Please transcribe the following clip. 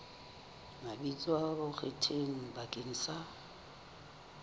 mabitso a bonkgetheng bakeng sa